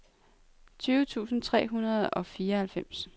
tyve tusind tre hundrede og fireoghalvfems